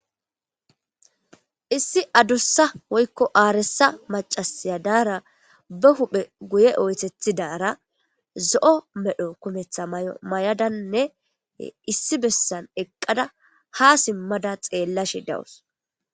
Issi adussa woykko aaresa macasaya daara ba huphe guye oytethidara zo'o medho kumetha may'o may'adannne issi bessan eqqada ha simmada xeellash dawus